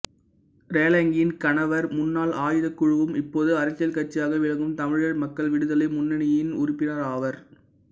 ரேலங்கியின் கணவர் முன்னாள் ஆயுதக்குழுவும் இப்போது அரசியல் கட்சியாக விளங்கும் தமிழர் மக்கள் விடுதலை முன்னணியின் உறுப்பினராவார்